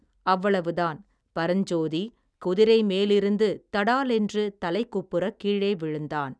அவ்வளவுதான் பரஞ்சோதி குதிரை மேலிருந்து தடாலென்று தலைகுப்புறக் கீழே விழுந்தான்.